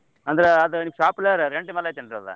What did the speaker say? ಅಂದ್ರ ಅದ ನಿಮ್ shop ಮೇಲ್ ಅದ್ rent ಮೇಲ್ ಐತೇನ್ರಿ ಅದ?